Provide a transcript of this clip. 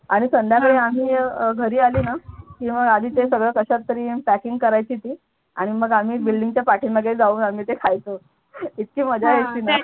आणि संध्याकाळी आम्ही घरी आली ना आधी मग ते सगळं कशात तरी packing करायची ती आणि मग आम्ही building च्या पाठीमागे जाऊन आम्ही ते खायचो इतकी मजा यायची ना.